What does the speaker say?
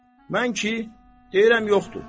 Mən ki, deyirəm yoxdur.